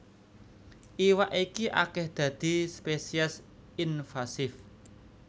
Iwak iki akèh dadi spesies invasif